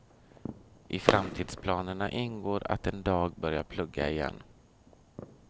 I framtidsplanerna ingår att en dag börja plugga igen.